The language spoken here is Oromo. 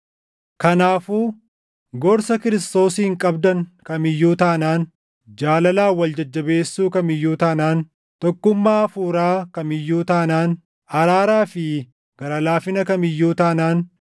Kanaafuu gorsa Kiristoosiin qabdan kam iyyuu taanaan, jaalalaan wal jajjabeessuu kam iyyuu taanaan, tokkummaa Hafuuraa kam iyyuu taanaan, araaraa fi gara laafina kam iyyuu taanaan,